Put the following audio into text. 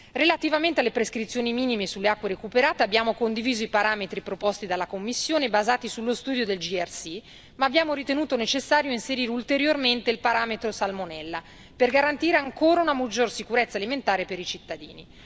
Relativamente alle prescrizioni minime sulle acque recuperate abbiamo condiviso i parametri proposti dalla Commissione, basati sullo studio del JRC, ma abbiamo ritenuto necessario inserire ulteriormente il parametro salmonella per garantire ancora una maggiore sicurezza alimentare per i cittadini.